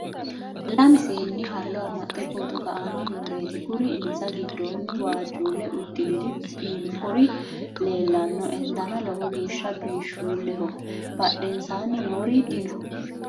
lame seenni hallo amaxxe photo ka'anni nooreeti kuri insa giddonni waajjuulle uddirinri biinfori leellannoe dana lowo geeshsha biishshulleo badhensaanni noori dino.